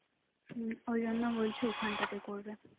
হুঁ ওই জন্য বলছে ওখানটাতে করবে